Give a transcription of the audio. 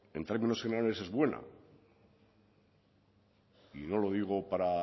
en términos generales es buena y no lo digo para